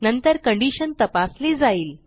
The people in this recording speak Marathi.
नंतर कंडिशन तपासली जाईल